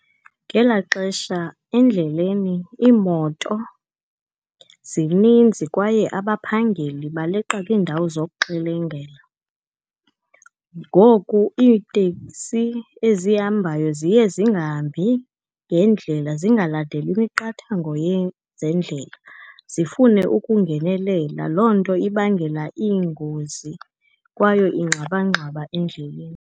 Ngelaa xesha endleleni iimoto zininzi, kwaye abaphangeli baleqa kwiindawo zokuxelengela. Ngoku iiteksi ezihambayo ziye zingahambi ngendlela, zingalandeli imiqathango yezendlela, zifune ukungenelela. Loo nto ibangela iingozi kwayo ingxwabangxwaba endleleni.